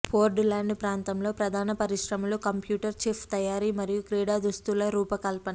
port land ప్రాంతంలో ప్రధాన పరిశ్రమలు కంప్యూటర్ చిప్ తయారీ మరియు క్రీడా దుస్తుల రూపకల్పన